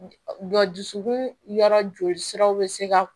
Jɔ dusukun yɔrɔ joli siraw bɛ se ka